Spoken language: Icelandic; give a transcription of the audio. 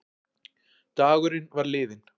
Dagurinn var liðinn.